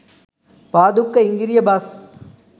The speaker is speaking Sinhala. පාදුක්ක ඉංගිරිය බස්